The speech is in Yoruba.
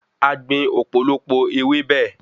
A gbìn òpòlopò ewébẹ̀